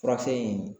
Furakɛ in